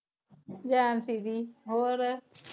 ਜੈਅੰਤੀ ਜੀ ਹੋਰ?